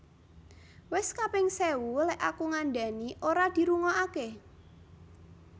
Wes kaping sewu lek aku ngandhani ora dirungoake